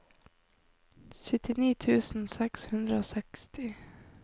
syttini tusen seks hundre og seksti